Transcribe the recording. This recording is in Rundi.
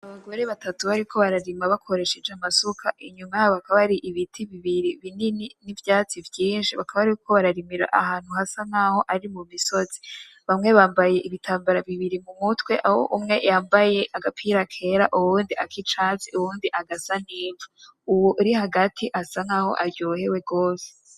Abagore batatu bari bako bararima bakoresheje amasuka, inyuma yabo hakaba hari ibiti bibiri binini n'ivyatsi vyinshi. Bakaba bariko bararimira ahantu hasa n'aho ari mu misozi. Bamwe bambaye ibitambara bibiri mu mutwe, aho umwe yambaye agapira kera, uwundi ak'icatsi, uwundi agasa n'ijwi. Uwo uri hagati asa n'aho aryohewe gose.